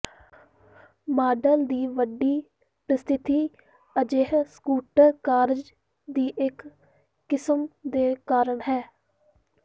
model ਦੀ ਵੱਡੀ ਪ੍ਰਸਿੱਧੀ ਅਜਿਹੇ ਸਕੂਟਰ ਕਾਰਜ ਦੀ ਇੱਕ ਕਿਸਮ ਦੇ ਕਾਰਨ ਹੈ